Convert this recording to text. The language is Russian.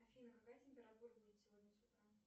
афина какая температура будет сегодня с утра